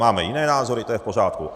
Máme jiné názory, to je v pořádku.